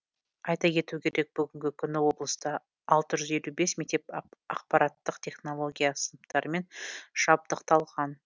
айта кету керек бүгінгі күні облыста алты жүз елу бес мектеп ақпараттық технология сыныптарымен жабдықталған